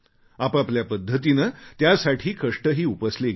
आपापल्या पद्धतीने त्यासाठी कष्टही उपसले गेले